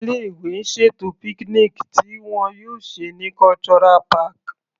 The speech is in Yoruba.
Ilé ìwé ń ṣètò picnic tí wọn yóò ṣe ní Cultural park.